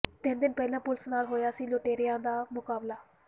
ਤਿੰਨ ਦਿਨ ਪਹਿਲਾਂ ਪੁਲਸ ਨਾਲ ਹੋਇਆ ਸੀ ਲੁਟੇਰਿਆਂ ਦਾ ਮੁਕਾਬਲਾ